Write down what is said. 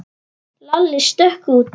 Lalli stökk út.